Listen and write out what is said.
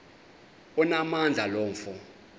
onamandla lo mfo